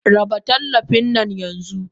Raba tallafin nan yanxu!